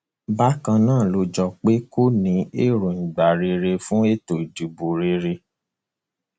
bákan náà ló jọ pé kò ní èròǹgbà rere fún ètò ìdìbò rere